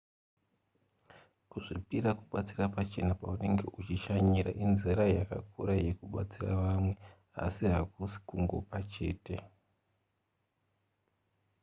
kuzvipira kubatsira pachena paunenge uchishanya inzira yakakura yekubatsira vamwe asi hakusi kungopa chete